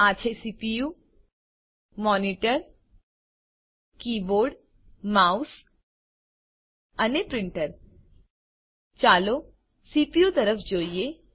આ છે CPU monitor keyboard mouse અને પ્રીંટર ચાલો સીપીયુ તરફ જોઈએ